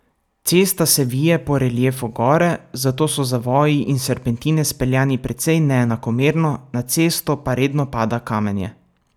Cesta se vije po reliefu gore, zato so zavoji in serpentine speljani precej neenakomerno, na cesto pa redno pada kamenje.